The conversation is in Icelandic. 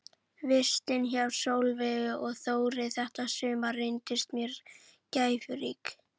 Vistin hjá Sólveigu og Þórði þetta sumar reyndist mér gæfurík.